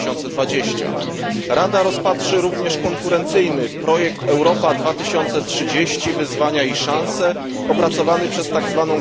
2020. Rada rozpatrzy również konkurencyjny projekt Europa 2030 wyzwania i szanse, opracowany przez tzw.